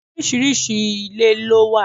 Oríṣiríṣi ilé ló wà.